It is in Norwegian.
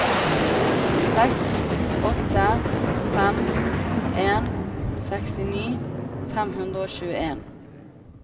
seks åtte fem en sekstini fem hundre og tjueen